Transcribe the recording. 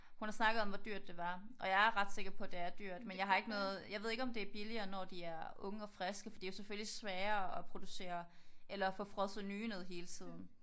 Hun har snakket om hvor dyrt det var. Og jeg er ret sikker på at det er dyrt men jeg har ikke noget. Jeg ved ikke om det er billigere når de er unge og friske for det er selvfølgelig sværere at producere eller at få frosset nye ned hele tiden